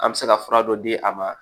An bɛ se ka fura dɔ di a ma